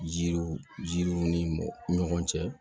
Jiriw jirunw ni ɲɔgɔn cɛ